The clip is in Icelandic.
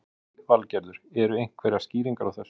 Lillý Valgerður: Eru einhverjar skýringar á þessu?